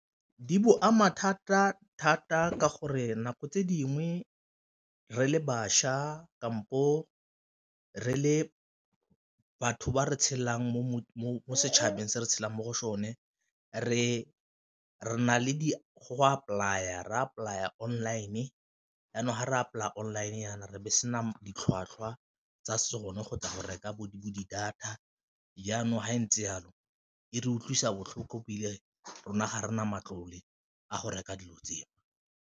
Di bo ama thata-thata ka gore nako tse dingwe re le bašwa kampo re le batho ba re tshelang mo setšhabeng se re tshelang mo go sone re re na le go apply-a, re apply-a online jaanong ga re apply-a online jaana re be sena ditlhwatlhwa tsa sone go tla go reka bo di-data, jaanong fa ntse jalo e re utlwisa botlhoko ebile rona ga re na matlole a go reka dilo tseo.